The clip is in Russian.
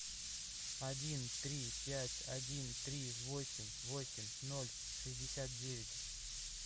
один три пять один три восемь восемь ноль шестьдесят девять